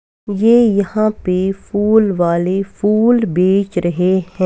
वे यहां पे फूल वाले फूल बेच रहे हैं।